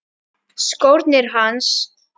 Skórnir hans.